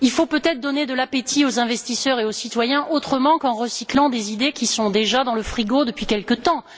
Il faut peut être donner de l'appétit aux investisseurs et aux citoyens autrement qu'en recyclant des idées qui sont déjà dans le frigo depuis quelque temps.